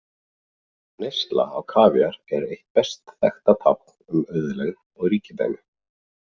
Neysla á kavíar er eitt best þekkta tákn um auðlegð og ríkidæmi.